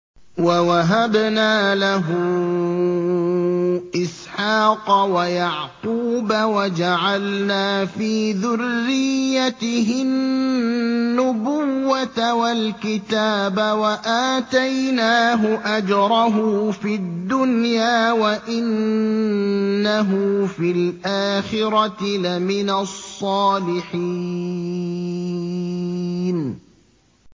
وَوَهَبْنَا لَهُ إِسْحَاقَ وَيَعْقُوبَ وَجَعَلْنَا فِي ذُرِّيَّتِهِ النُّبُوَّةَ وَالْكِتَابَ وَآتَيْنَاهُ أَجْرَهُ فِي الدُّنْيَا ۖ وَإِنَّهُ فِي الْآخِرَةِ لَمِنَ الصَّالِحِينَ